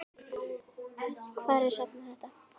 Hvar er safn þetta?